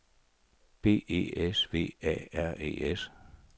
B E S V A R E S